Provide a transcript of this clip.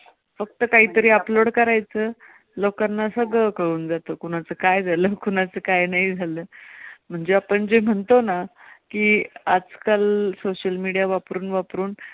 फक्त काहीतरी upload करायचं लोकांना, सगळं कळून जातं कुणाचं काय झालं? कुणाचं काय नाही? म्हणजे आपण जे म्हणतो ना की आजकाल social media वापरून वापरून